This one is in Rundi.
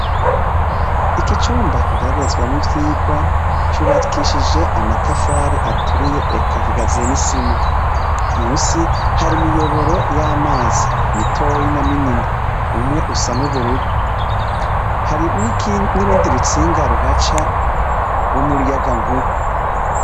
Iki cumba kigeragerezamwo ivyigwa, cubakishije amatafari aturiye eka gikaziye n'isima. Munsi hari imiyobora y'amazi mitoyi na minini. Umwe usa n'ubururu, Hari n'urundi rutsinga ruhaca rw'umuyagankuba.